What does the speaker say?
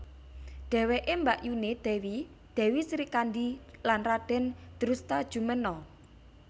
Dheweke mbakyuné Dèwi Dèwi Srikandhi lan Radèn Drustajumena